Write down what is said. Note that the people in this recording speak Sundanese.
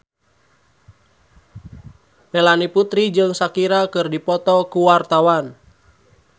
Melanie Putri jeung Shakira keur dipoto ku wartawan